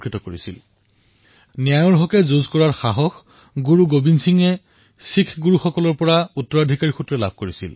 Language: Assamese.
গুৰু গোৱিন্দ সিংজীয়ে ন্যায়ৰ সপক্ষে যুঁজ দিয়াৰ প্ৰেৰমা শিখ গুৰুসকলৰ পৰা লাভ কৰিছিল